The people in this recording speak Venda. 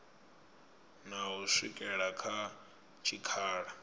na u swikela kha tshikhala